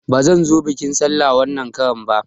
Bazan zo biƙin sallah wanan karan ba